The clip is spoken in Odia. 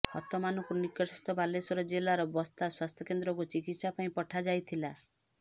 ହତମାନଙ୍କୁ ନିକଟସ୍ଥ ବାଲେଶ୍ବର ଜିଲ୍ଲାର ବସ୍ତା ସ୍ବାସ୍ଥ୍ୟକେନ୍ଦ୍ରକୁ ଚିକିତ୍ସାପାଇଁ ପଠାଯାଇଥିଲା